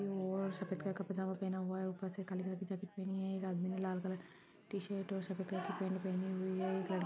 और सफेद कलर का पैजामा पहना हुआ है और ऊपर से काले कलर की जैकेट पहनी हैं एक आदमी ने लाल कलर की टी शर्ट और सफेद कलर की पैंट पहनी हुई हैं।